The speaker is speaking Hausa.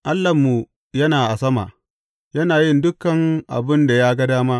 Allahnmu yana a sama; yana yin duk abin da ya ga dama.